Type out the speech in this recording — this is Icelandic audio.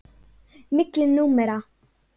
Milli númera.